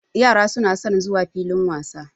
Yara suna son zuwa filin wasa.